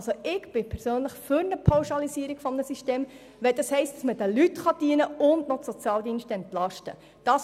Ich persönlich bin für ein Pauschalisieren des Systems, wenn das heisst, dass man den Leuten dienen und zudem die Sozialdienste entlasten kann.